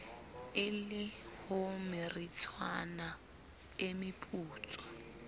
e le homeritshana e meputswa